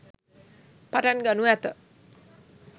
පටන් ගනු ඇත.